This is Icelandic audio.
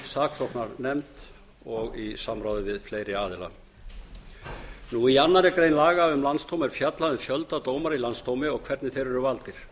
saksóknarnefnd og í samráði við fleiri aðila í annarri grein laga um landsdóm er fjallað um fjölda dómara í landsdómi og hvernig þeir eru valdir